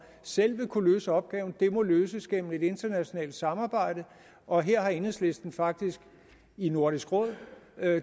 selv vil kunne løse opgaven den må løses gennem et internationalt samarbejde og her har enhedslisten faktisk i nordisk råd